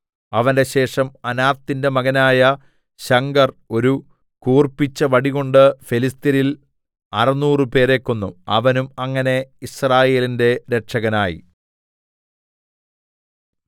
അവന്റെ ശേഷം അനാത്തിന്റെ മകനായ ശംഗർ ഒരു കൂർപ്പിച്ച വടികൊണ്ട് ഫെലിസ്ത്യരിൽ അറുനൂറുപേരെ കൊന്നു അവനും അങ്ങനെ യിസ്രായേലിന്റെ രക്ഷകനായി